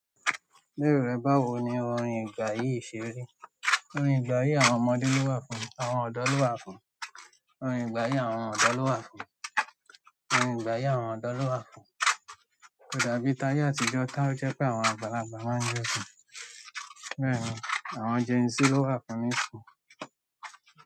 Lero rẹ, báwo ni orin ìgbà yìí ṣe rí? Orin ìgbà yìí àwọn ọmọdé lo wa fún, àwọn odo lo wa fún orin ìgbà yìí àwọn ọ̀dọ́ ló wà fún un. Orin ìgbà yìí àwọn ọ̀dọ́ ló wà fún un. Kò dàbí táye àtijọ́ táó jẹ́ pé àwọn àgbàlagbà máa ń jo si. Bẹ́ẹ̀ni, àwọn Gen Z ló wà fún nisin.